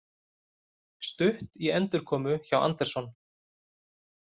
Stutt í endurkomu hjá Anderson